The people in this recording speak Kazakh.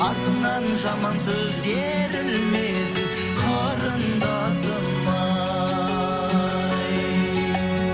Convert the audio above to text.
артыңнан жаман сөз ерілмесін қарындасым ай